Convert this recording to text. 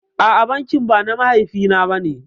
A'a bankin ba na mahaifi na bane